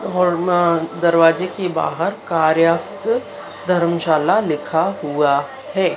और मा दरवाजे के बाहर कार्यास्त धर्मशाला लिखा हुआ है।